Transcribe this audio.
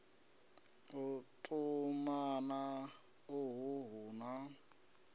u tumana uhu hu na